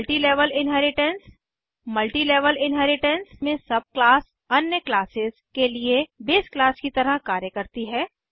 multi level inheritance multi level inheritance में sub class अन्य classes के लिए बेस क्लास की तरह कार्य करती हैं